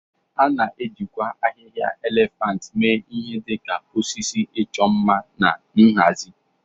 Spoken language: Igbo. A na-ejikwa ahịhịa elephant mee ihe dị ka osisi ịchọ mma na nhazi.